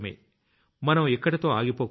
మనం ఇక్కడితో ఆగిపోకూడదు